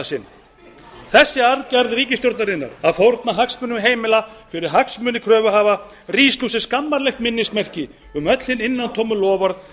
sinn þessi aðgerð ríkisstjórnarinnar að fórna hagsmunum heimila fyrir hagsmuni kröfuhafa rís nú sem skammarlegt minnismerki um öll hin innantómu loforð